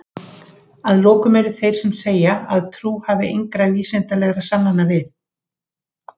Að lokum eru þeir sem segja að trú þurfi engra vísindalegra sannana við.